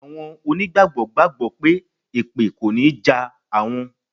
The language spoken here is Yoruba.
Àwọn onígbàgbọ́ gbàgbọ́ pé èpè kò ní jà àwọn.